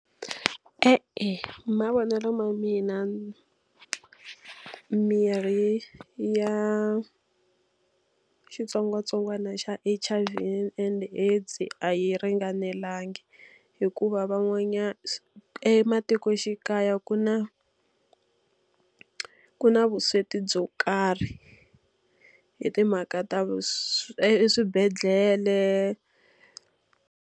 E-e hi mavonelo ma mina mirhi ya xitsongwatsongwana xa H_I_V and DISA a yi ringanelanga. Hikuva van'wanyana matikoxikaya ku na ku na vusweti byo karhi hi timhaka ta eswibedhlele.